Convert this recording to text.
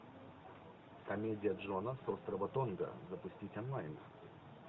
комедия джона с острова тонга запустить онлайн